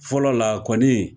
Fɔlɔ la kɔni